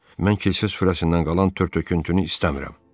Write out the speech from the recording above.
Mən kilsə sürüsündən qalan tök-töküntünü istəmirəm.